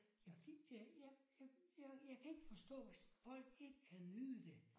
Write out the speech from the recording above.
Jamen jeg jeg jeg jeg kan ikke forstå hvis folk ikke kan nyde det